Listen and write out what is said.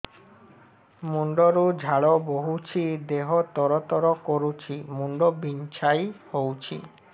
ମୁଣ୍ଡ ରୁ ଝାଳ ବହୁଛି ଦେହ ତର ତର କରୁଛି ମୁଣ୍ଡ ବିଞ୍ଛାଇ ହଉଛି